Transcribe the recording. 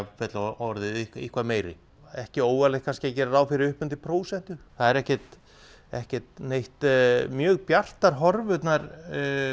orðið eitthvað meiri ekki óvarlegt kannski að gera ráð fyrir upp undir prósentu það eru ekki ekki neitt mjög bjartar horfurnar